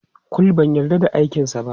Kul, ban yarda da aikinsa ba.